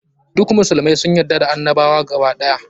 Duk musulmai sun yarda da annabawa gaba ɗaya.